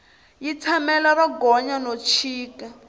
yi tshamela ro gonya no chika